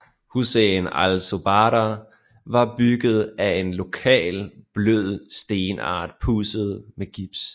Husene i Al Zubarah var bygget a en lokal blød stenart pudset med gips